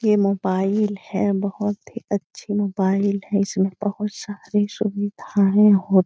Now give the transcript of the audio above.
ये मोबाइल है बहुत ही अच्छी मोबाइल है इसमें बहुत सारी सुवीधाएँ हो --